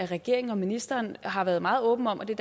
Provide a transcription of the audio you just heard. regeringen og ministeren har været meget åben om og det